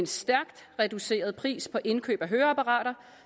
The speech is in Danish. stærkt reduceret pris på indkøb af høreapparater